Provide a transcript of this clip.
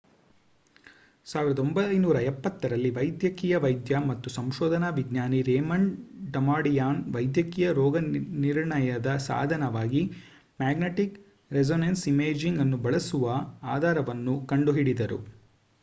1970 ರಲ್ಲಿ ವೈದ್ಯಕೀಯ ವೈದ್ಯ ಮತ್ತು ಸಂಶೋಧನಾ ವಿಜ್ಞಾನಿ ರೇಮಂಡ್ ಡಮಾಡಿಯನ್ ವೈದ್ಯಕೀಯ ರೋಗನಿರ್ಣಯದ ಸಾಧನವಾಗಿ ಮ್ಯಾಗ್ನೆಟಿಕ್ ರೆಸೋನೆನ್ಸ್ ಇಮೇಜಿಂಗ್ ಅನ್ನು ಬಳಸುವ ಆಧಾರವನ್ನು ಕಂಡುಹಿಡಿದರು